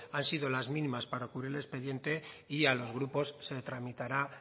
han sido las mínimas para cubrir el expediente y a los grupos se tramitará